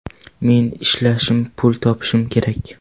Men ishlashim, pul topishim kerak.